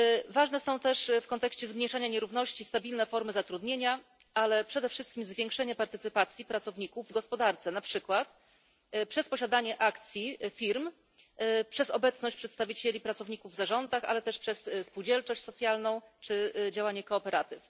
Ważne są też w kontekście zmniejszania nierówności stabilne formy zatrudnienia, ale przede wszystkim zwiększenie partycypacji pracowników w gospodarce, na przykład przez posiadanie akcji firm, przez obecność przedstawicieli pracowników w zarządach, ale też przez spółdzielczość socjalną czy działanie kooperatyw.